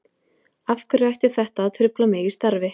Af hverju ætti þetta að trufla mig í starfi?